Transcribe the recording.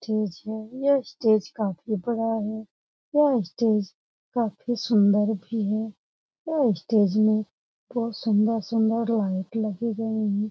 Stage है यह stage काफी बड़ा है यह स्टेज काफी सुन्दर भी है यह स्टेज मे बहुत सुन्दर सुन्दर लाइट लगी गई है ।